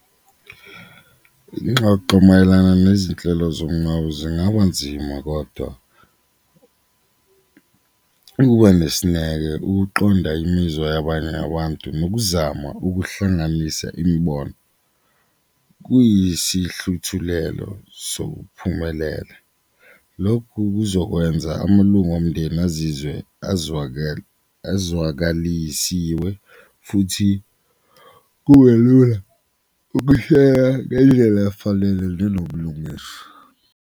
Ingxoxo mayelana nezinhlelo zomngcwabo zingaba nzima kodwa ukuba nesineke, ukuqonda imizwa yabanye abantu, nokuzama ukuhlanganisa imibono kuyisihluthulelo sokuphumelela. Lokhu kuzokwenza amalunga omndeni azizwe azwakalisiwe futhi kube lula ngendlela efanele ukulungiswa.